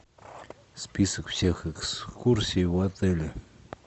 список всех экскурсий в отеле